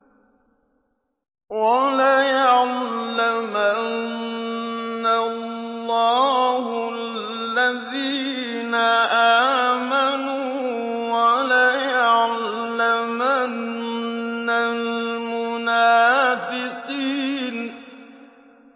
وَلَيَعْلَمَنَّ اللَّهُ الَّذِينَ آمَنُوا وَلَيَعْلَمَنَّ الْمُنَافِقِينَ